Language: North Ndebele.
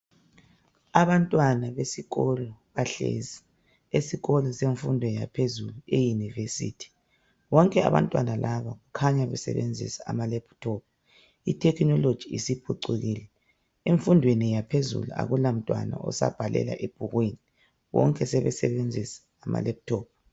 Abantwana besikolo bahlezi esikolo semfundo yaphezulu eyunivesithi. Bonke abantwana laba kukhanya besebenzisa amalaptop, ithekhinoloji isiphucukile. Emfundeni yaphezulu akulamntwana osabhalela ebhukwini bonke sebesebenzisa amalaptop.